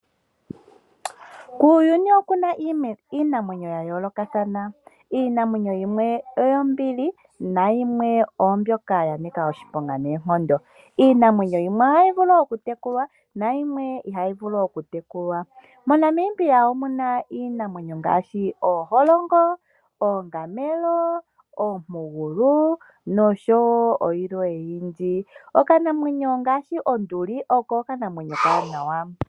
Kuuyuni okuna iinamwenyo ya yoolokathana. Iinamwenyo yimwe oyombili na yimwe oombyoka ya nika oshiponga noonkondo. Iinamwenyo yimwe ohayi vulu oku tekulwa na yimwe ihayi vulu oku tekulwa. Mo Namibia omuna iinamwenyo ngaashi ooholongo, oongamelo , oompugulu nosho woo yilwe oyindji . Okanamwenyo ngaashi onduli , oko okanamwenyo okawanawa .